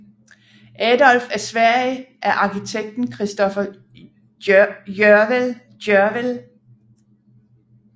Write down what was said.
Adolf af Sverige af arkitekten Christoffer Gjörwell